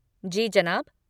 जी जनाब।